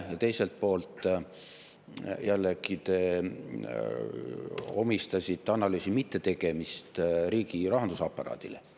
Ja teiselt poolt jällegi omistasite analüüsi mittetegemist riigirahanduse aparaadile.